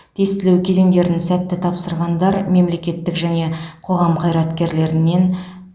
тестілеу кезеңдерін сәтті тапсырғандар мемлекеттік және қоғам қайраткерлерінен